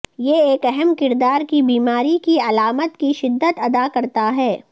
یہ ایک اہم کردار کی بیماری کی علامات کی شدت ادا کرتا ہے